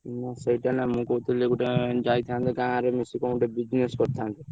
ହୁଁ ସେଇଟା ନ ମୁ କହୁଥିଲି ଗୋଟେ ଯାଇଥାନ୍ତେ ଗାଁରେ ମିସିକି ଙ୍କ ଗୋଟେ business କରିଥାନ୍ତେ।